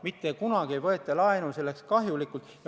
Mitte kunagi ei võeta laenu endale kahjulikult.